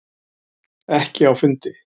Ekki á fundi.